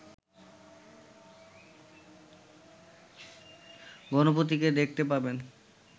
গণপতিকে দেখতে পাবেন